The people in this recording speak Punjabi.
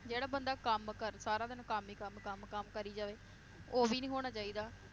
ਜਿਹੜਾ ਬੰਦਾ ਕੰਮ ਕਰ~ ਸਾਰਾ ਦਿਨ ਕਮ ਈ ਕਮ ਕਮ ਕਮ ਕਰੀ ਜਾਵੇ ਉਹ ਵੀ ਨੀ ਹੋਣਾ ਚਾਹੀਦਾ।